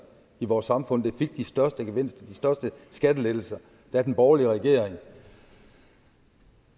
i vores samfund der fik de største gevinster de største skattelettelser da den borgerlige regering